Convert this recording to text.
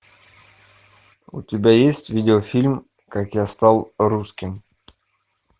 у тебя есть видеофильм как я стал русским